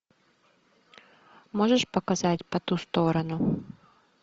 можешь показать по ту сторону